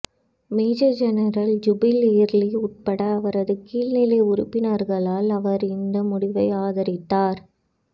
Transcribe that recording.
major general Jubal Early உட்பட அவரது கீழ்நிலை உறுப்பினர்களால் அவர் இந்த முடிவை ஆதரித்தார்